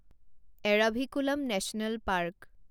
Eravikulam national park